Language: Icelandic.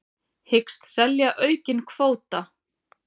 Hyggst selja aukinn kvóta